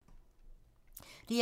DR2